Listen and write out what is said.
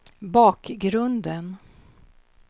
bakgrunden